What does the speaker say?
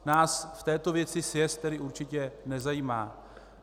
Nás v této věci sjezd tedy určitě nezajímá.